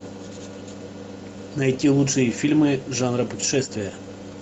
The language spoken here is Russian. найти лучшие фильмы жанра путешествия